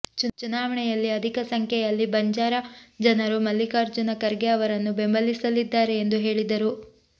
ಚುನಾವಣೆಯಲ್ಲಿ ಅಧಿಕ ಸಂಖ್ಯೆಯಲ್ಲಿ ಬಂಜಾರ ಜನರು ಮಲ್ಲಿಕಾರ್ಜುನ ಖರ್ಗೆ ಅವರನ್ನು ಬೆಂಬಲಿಸಲಿದ್ದಾರೆ ಎಂದು ಹೇಳಿದರು